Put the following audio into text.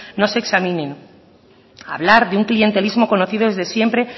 no se examinen hablar de un clientelismo conocido desde siempre